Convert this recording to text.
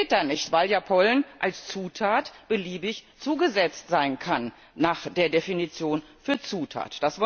Das geht dann nicht, weil ja Pollen als Zutat beliebig zugesetzt sein kann nach der Definition für Zutat.